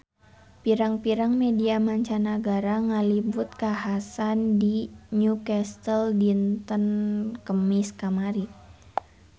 Pirang-pirang media mancanagara ngaliput kakhasan di Newcastle dinten Kemis kamari